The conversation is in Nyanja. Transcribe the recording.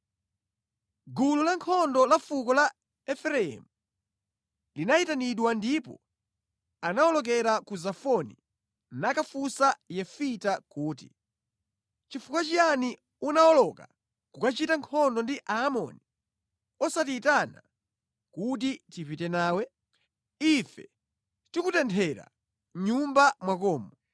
Gulu la nkhondo la fuko la Efereimu linayitanidwa ndipo anawolokera ku Zafoni nakafunsa Yefita kuti, “Nʼchifukwa chiyani unawoloka kukachita nkhondo ndi Aamoni osatiyitana kuti tipite nawe? Ife tikutenthera mʼnyumba mwakomu.”